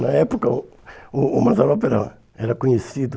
Na época, o o o Mazzaropi era era conhecido.